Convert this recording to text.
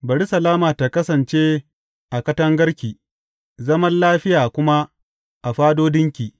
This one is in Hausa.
Bari salama ta kasance a katangarki zaman lafiya kuma a fadodinki.